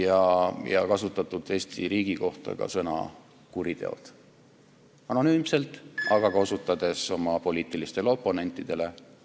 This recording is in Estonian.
Eesti riigist rääkides on kasutatud ka sõna "kuriteod" – anonüümselt, aga ka osutades oma poliitilistele oponentidele.